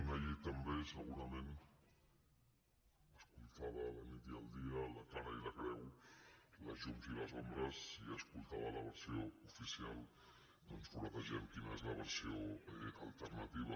una llei també segurament escoltades la nit i el dia la cara i la creu les llums i les ombres i escoltada la versió oficial doncs furetegem quina és la versió alternativa